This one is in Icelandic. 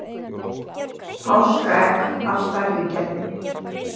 páskaegg af stærri gerðinni